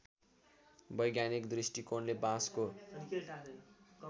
वैज्ञानिक दृष्टिकोणले बाँसको